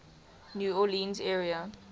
new orleans area